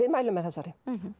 mælum með þessari